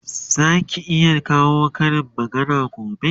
Zaki iya kawo Karin magana gobe?